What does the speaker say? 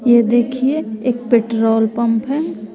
ये देखिए एक पेट्रोल पंप है।